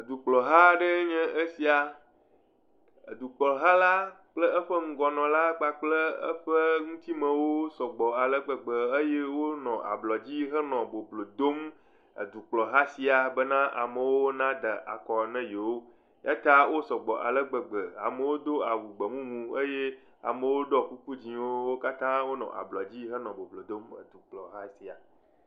Dukplɔha aɖe nye esia. Dukplɔla kpakple eƒe ŋgɔnɔla kpakple eƒe nutimewo sɔgbɔ ale gbegbe eye wonɔ ablɔ dzi henɔ boblo dom edukplɔ hã sia bena amewo amewo na de akɔ na yewo. Ya ta wò sɔgbɔ ale gbegbe. Amewo do awu gbemumu, amewo ɖɔ kuku dzɛwo eye wonɔ ablɔ dzi henɔ boblo dom.